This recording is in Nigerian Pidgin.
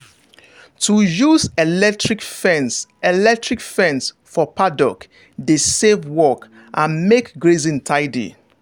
to use electric fence electric fence for paddock dey save work and make grazing tidy.